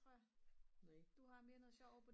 du har mere noget sjov ovre på din